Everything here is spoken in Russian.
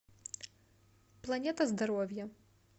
планета здоровья